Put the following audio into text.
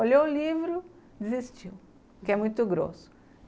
Olhou o livro, desistiu, porque é muito grosso.